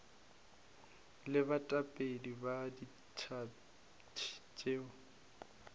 le baetapele ba diphathi tšeo